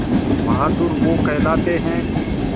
बहादुर वो कहलाते हैं